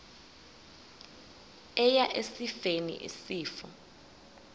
eya esifeni isifo